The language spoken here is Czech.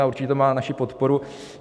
A určitě to má naši podporu.